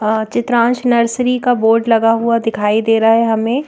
Chitransh nursery का board लगा हुआ दिखाई दे रहा है हमें।